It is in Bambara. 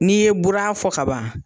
N'i ye bura fɔ kaban.